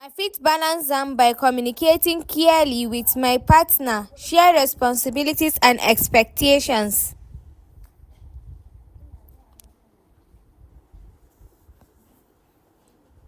I fit balance am by communicating clearly with my partner, share responsibilities and expectations.